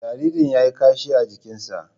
Jaririn ya yi kashi a jikinsa.